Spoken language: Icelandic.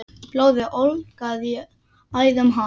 Blóðið ólgaði í æðum hans.